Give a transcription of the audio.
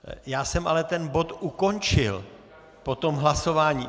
Já jsem ale ten bod ukončil po tom hlasování.